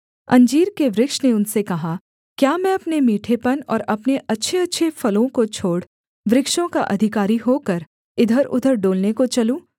अंजीर के वृक्ष ने उनसे कहा क्या मैं अपने मीठेपन और अपने अच्छेअच्छे फलों को छोड़ वृक्षों का अधिकारी होकर इधरउधर डोलने को चलूँ